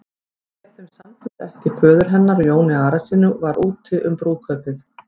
Ef þeim samdist ekki föður hennar og Jóni Arasyni var úti um brúðkaupið.